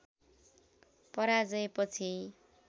पराजय पछि